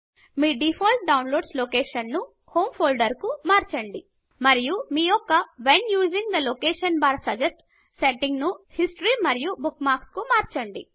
మీ default download లొకేషన్ను home folder కు మార్చండి మరియు మీ యొక్క when using the location bar suggest సెట్టింగ్ను హిస్టరీ మరియు బుక్మార్క్స్ కు మార్చండి